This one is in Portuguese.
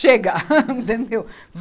Chega, entendeu?